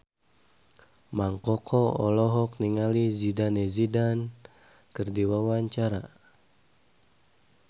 Mang Koko olohok ningali Zidane Zidane keur diwawancara